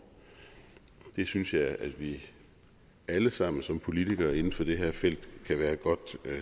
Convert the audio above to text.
det synes jeg at vi alle sammen som politikere inden for det her felt kan være godt